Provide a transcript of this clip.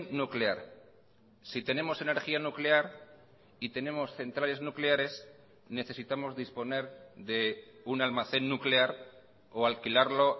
nuclear si tenemos energía nuclear y tenemos centrales nucleares necesitamos disponer de un almacén nuclear o alquilarlo